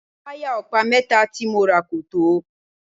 Wáyà ọ̀pá mẹ́ta tí mo rà kò tó.